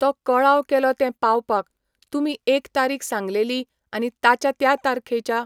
तो कळाव केलो तें पावपाक, तुमी एक तारीख सांगलेली आनी ताच्या त्या तारखेच्या